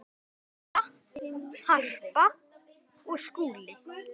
Halla, Harpa og Skúli.